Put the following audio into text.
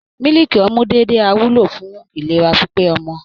Mílíkì ọmú déédéé á wúlò fún ìlera pípé ọmọ